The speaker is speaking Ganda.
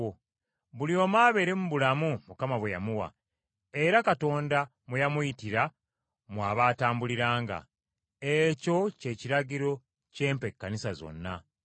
Buli omu abeere mu bulamu Mukama bwe yamuwa, era Katonda mwe yamuyitira mw’abatambuliranga. Ekyo ky’ekiragiro kye mpa ekkanisa zonna.